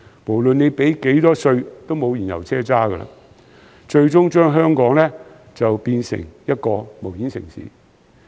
無論繳交多少稅，都再沒有燃油車，最終將香港變成一個無煙城市。